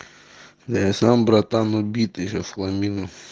да я сам братан убит ещё в хламину